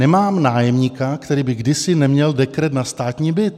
Nemám nájemníka, který by kdysi neměl dekret na státní byt.